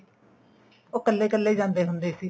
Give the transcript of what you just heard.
ਉਹ ਕੱਲੇ ਕੱਲੇ ਜਾਂਦੇ ਹੁੰਦੇ ਸੀ